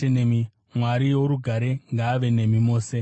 Mwari worugare ngaave nemi mose. Ameni.